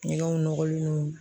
Ɲɛgɛnw nɔgɔlen don.